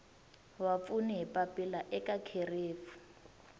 vapfuni hi papila eka kherefu